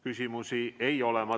Küsimusi ei ole.